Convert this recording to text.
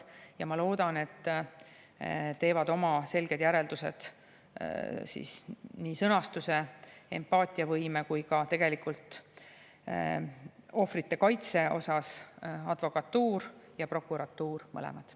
Ja ma loodan, et omad selged järeldused nii sõnastuse, empaatiavõime kui ka ohvrite kaitse osas teevad advokatuur ja prokuratuur mõlemad.